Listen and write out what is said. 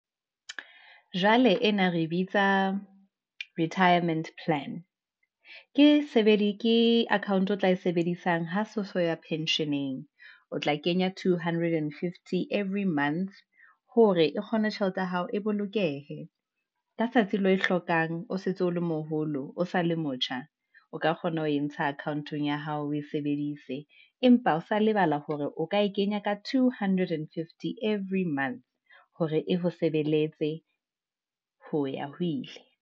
Jwale ena re bitsa retirement plan, ke account o tla e sebedisang ho so ya pension-eng, o tla kenya two hundred and fifty, every months. Hore e kgone tjhelete ya hao e bolokehe, ka tsatsi leo e hlokang o setse o le moholo, o sa le motjha, o ka kgona ho e ntsha account-ong ya hao, o e sebedise. Empa o sa lebala hore o ka e kenya ka two hundred and fifty every month hore e ho sebeletse, ho ya ho ile.